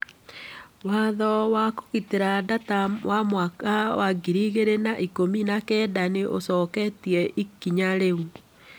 Watho wa Kũgitĩra Data wa mwaka wa ngiri igĩrĩ na ikũmi na kenda nĩ ũcoketie ikinya rĩu.